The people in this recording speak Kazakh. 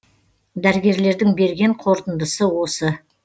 дәрігерлердің берген қорытындысы осы